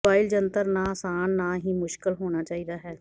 mobile ਜੰਤਰ ਨਾ ਆਸਾਨ ਨਾ ਹੀ ਮੁਸ਼ਕਲ ਹੋਣਾ ਚਾਹੀਦਾ ਹੈ